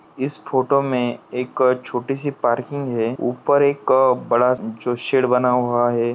इस फोटो मे एक छोटीसी पार्किंग है ऊपर एक बड़ा जो शेड बना हुआ है।